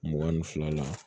Mugan ni fila la